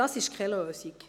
Das ist keine Lösung.